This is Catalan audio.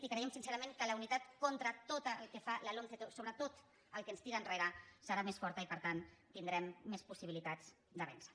i creiem sincerament que la unitat contra tot el que fa la lomce sobre tot el que ens tira enrere serà més forta i per tant tindrem més possibilitats de vèncer